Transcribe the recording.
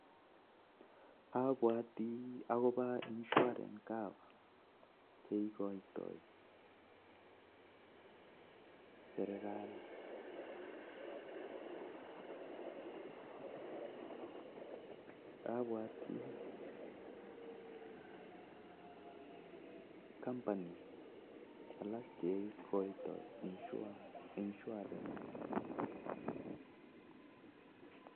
Abwoti akobo insurance cover cheikoitoi serekali ak abwoti akobo alak kora cheikoitoi serekali